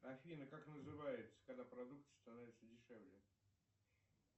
афина как называется когда продукты становятся дешевле